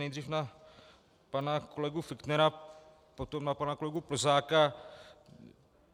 Nejdřív na pana kolegu Fichtnera, potom na pana kolegu Plzáka.